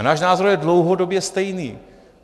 A náš názor je dlouhodobě stejný.